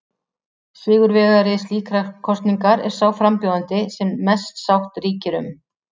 Sigurvegari slíkrar kosningar er sá frambjóðandi sem mest sátt ríkir um.